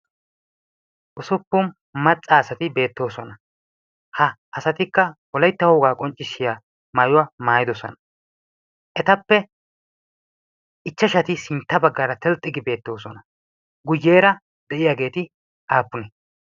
ussupun macca asati beetoosoa. ha asatikka wolaytta wogaa maayuwaa maayidi beetoosona. guyeera diyageeti aapunee?